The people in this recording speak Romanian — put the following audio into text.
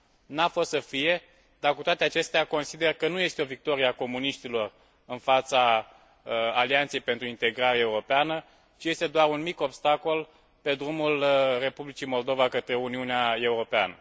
N a fost să fie, dar, cu toate acestea, consider că nu este o victorie a comuniștilor în fața Alianței pentru Integrare Europeană, ci este doar un mic obstacol pe drumul Republicii Moldova către Uniunea Europeană.